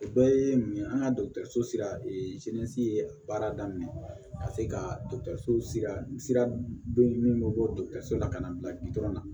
O bɛɛ ye mun ye an ka so sira baara daminɛ ka se ka sira be min bɔ la ka na bila la